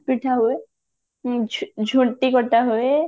ପିଠା ହୁଏ ଝୁ ଝୁଣ୍ଟି କଟା ହୁଏ